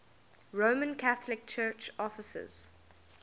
roman catholic church offices